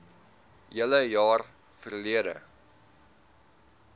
hele jaar verlede